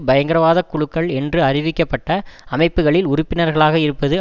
பயங்கரவாத குழுக்கள் என்று அறிவிக்கப்பட்ட அமைப்புக்களில் உறுப்பினர்களாக இருப்பது